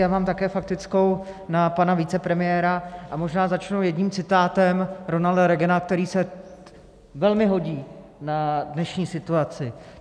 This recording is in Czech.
Já mám také faktickou na pana vicepremiéra, a možná začnu jedním citátem Ronalda Reagana, který se velmi hodí na dnešní situaci.